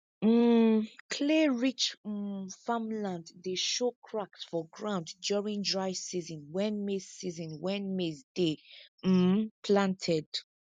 um clayrich um farmland dey show cracks for ground during dry season when maize season when maize dey um planted